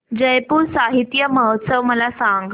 जयपुर साहित्य महोत्सव मला सांग